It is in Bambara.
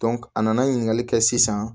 a nana ɲininkali kɛ sisan